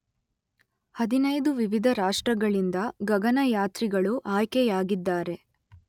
ಹದಿನೈದು ವಿವಿಧ ರಾಷ್ಟ್ರಗಳಿಂದ ಗಗನಯಾತ್ರಿಗಳು ಆಯ್ಕೆಯಾಗಿದ್ದಾರೆ